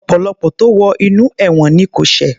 Ọ̀pọ̀lọpọ̀ tó wo inú ẹ̀wọ̀n ni kò ṣẹ̀